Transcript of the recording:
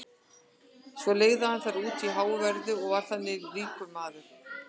svo leigði hann þær út á háu verði og varð þannig ríkur maður